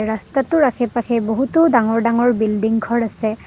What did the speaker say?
ৰাস্তাটোৰ আশে পাশে বহুতো ডাঙৰ ডাঙৰ বিল্ডিং ঘৰ আছে।